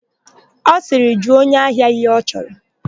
Ọ sịrị, "jụọ onye ahia ihe ọ chọrọ"!